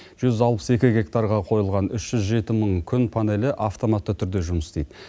жүз алпыс екі гектарға қойылған үш жүз жеті мың күн панелі автоматты түрде жұмыс істейді